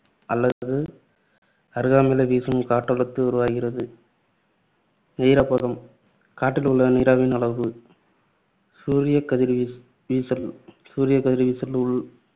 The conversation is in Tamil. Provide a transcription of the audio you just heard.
அல்லது அருகாமையிலே வீசும்போது சுழற்காற்று உருவாகிறது. ஈரப்பதம் காற்றில் உள்ள நீராவியின் அளவு சூரியக்கதிர் வீசல். சூரியக்கதிர் வீசல்